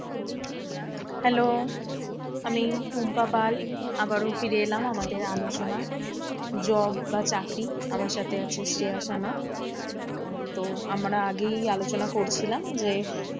Hello আমি টুম্পা পাল আবারো ফিরে এলাম আমাদের আলোচনা job বা চাকরি আমার সাথে আছে শ্রেয়া সানা তো আমরা আগেই আলোচনা করছিলাম যে,